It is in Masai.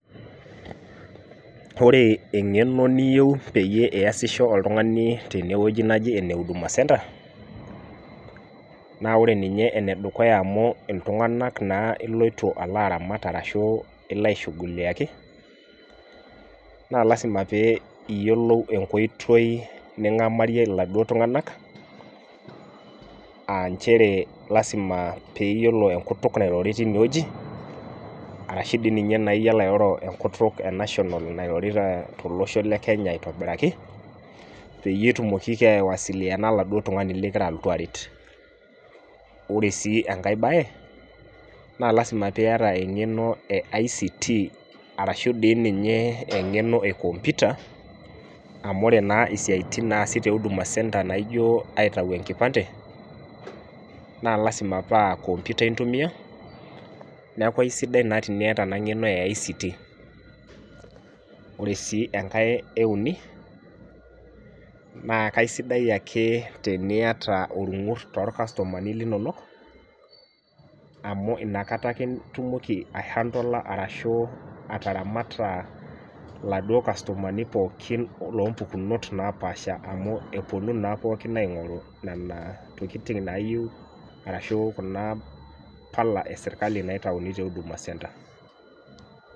Ore eng'eno niyieu peyie iyasisho oltungani tene wueji neji ene huduma centre naa ore ninye ene dukuya amu iltunganak naa iloito alo aramat arashu ilo aishughuliaki, naa lasima pee iyiolou enkoitoi ningamarie iladuoo tunganak, aa nchere lasima pee iyiolo enkutuk Nairobi teine wueji, arashu dii ninye iyiolo airoro enkutuk e national Nairobi tolosho le Kenya aitobiraki, peyie etumoki, aiwasiliana oladuoo tungani likigiara alotu aaret. ore sii enkae bae naa lasima pee iyata engeno e ICT arashu dii ninye engeno e computer amu ore naa istiatin naasi te huduma centre naijo inaitau enkipande, naa lasima paa computer intumia, neeku aisidai naa teniyata ena ng'eno o ICT .ore sii enkae euni naa kisidai ake teniyata olngur toorkastumani linonok amu inakata kitumoki ae handle arashu ataramata oladuoo kastomani pookin. loo mpukunot. napaasha amu epuonu naa pookin aingoru Nena tokitin naayieu arashu Kuna pala esirkali naitayuni te huduma centre.